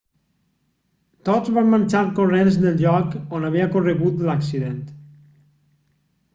tots van marxar corrents del lloc on havia ocorregut l'accident